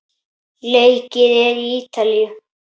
Leikið er í Ítalíu.